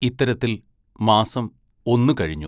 ഇത്തരത്തിൽ മാസം ഒന്നു കഴിഞ്ഞു.